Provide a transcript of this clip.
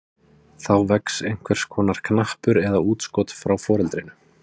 Þá vex einhvers konar knappur eða útskot frá foreldrinu.